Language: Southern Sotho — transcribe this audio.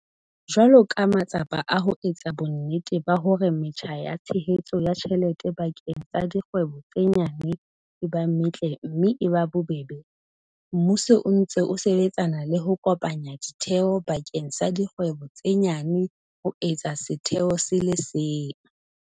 Jwalo ka matsapa a ho etsa bonnete ba hore metjha ya tshehetso ya tjhelete bakeng sa dikgwebo tse nyane e ba metle mme e ba bobebe, mmuso o ntse o sebetsana le ho kopanya ditheo bakeng sa dikgwebo tse nyane ho etsa setheo se le seng.